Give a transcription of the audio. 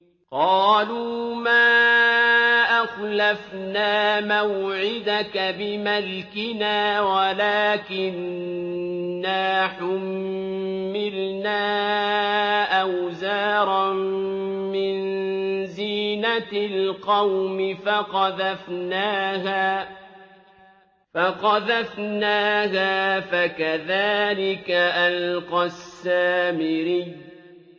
قَالُوا مَا أَخْلَفْنَا مَوْعِدَكَ بِمَلْكِنَا وَلَٰكِنَّا حُمِّلْنَا أَوْزَارًا مِّن زِينَةِ الْقَوْمِ فَقَذَفْنَاهَا فَكَذَٰلِكَ أَلْقَى السَّامِرِيُّ